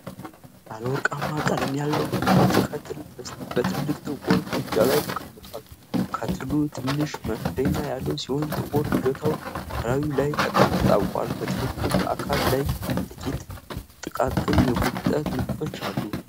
ባለ ወርቃማ ቀለም ያለው የብረት ከትል በትልቅ ጥቁር ምድጃ ላይ ተቀምጧል። ከትሉ ትንሽ መክደኛ ያለው ሲሆን ጥቁር እጀታው ከላዩ ላይ ተጣብቋል። በክትሉ አካል ላይ ጥቂት ጥቃቅን የጉብጠት ምልክቶች አሉ።